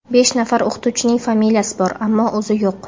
Besh nafar o‘qituvchining familiyasi bor, ammo o‘zi yo‘q.